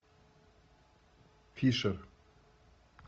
фишер